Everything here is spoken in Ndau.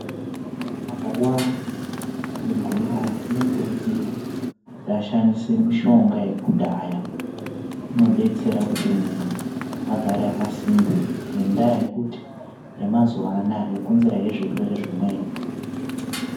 Muntu akarwara ngegomarara, unokurudzirwa kuti ashandise mushonga yekudhaya, inodetsera kuti muntu agare akasimba ngendaa yekuti yemazuwa anaa yokonzera he zvirwere zvimweni.